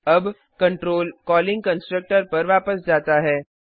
अब control calling constructor पर वापस जाता है